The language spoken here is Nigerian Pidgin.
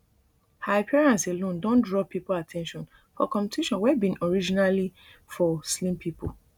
her appearance alone don draw pipo at ten tion for competition wey bin originally for slim pipo